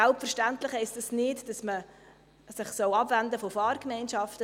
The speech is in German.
Selbstverständlich heisst das nicht, dass man sich abwenden soll von Fahrgemeinschaften.